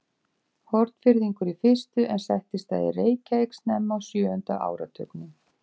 Hornfirðingur í fyrstu, en settist að í Reykjavík snemma á sjöunda áratugnum.